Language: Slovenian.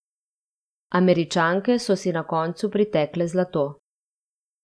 Američanke so si na koncu pritekle zlato.